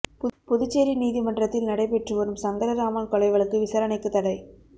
புதுச்சேரி நீதிமன்றத்தில் நடைபெற்று வரும் சங்கரராமன் கொலை வழக்கு விசாரணைக்கு தடை